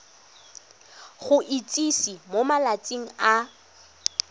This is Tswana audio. go itsise mo malatsing a